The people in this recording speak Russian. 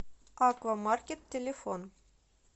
аквамаркет телефон